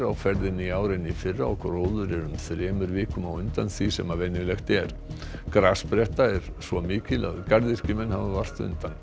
á ferðinni í ár en í fyrra og gróður er um þremur vikum á undan því sem venjulegt er grasspretta er svo mikil að garðyrkjumenn hafa vart undan